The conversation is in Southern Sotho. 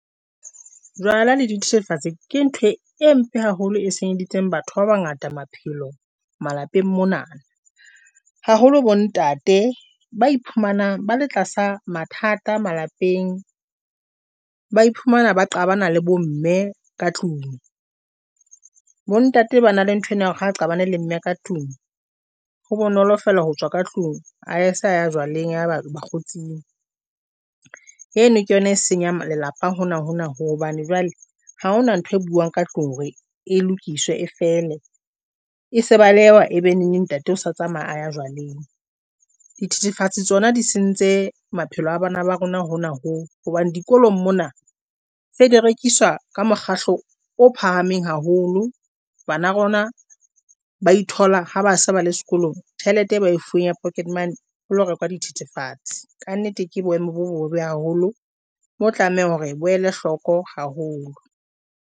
Jwala le dithethefatsi ke ntho e mpe haholo, e senyeditseng batho ba bangata maphelo malapeng mona haholo bontate ba iphumanang ba le tlasa mathata malapeng, ba iphumana ba qabana le bo mme ka tlung. Bontate ba na le nthwena ya hore ha qabane le mme ka tlung. Ho bonolo fela ho tswa ka tlung a sa jwaleng a ya ba bokgotsing. Eno ke yona e senyang lelapa hona hona hobane jwale ha hona ntho e buang ka tlung hore e lokiswe, e fele, e se baleha ebe neneng ntate o sa tsamaya a ya jwaleng. Dithethefatsi tsona di sentse maphelo a bana ba rona hona ho hobane dikolong mona se di rekiswa mokgatlo o phahameng haholo. Bana rona ba ithola ha ba se ba le sekolong. Tjhelete e bae fuweng ya pocket money, o lo rekwa dithethefatsi ka nnete. Ke boemo bo bobebe haholo, mo tlamehang hore bo ele hloko haholo.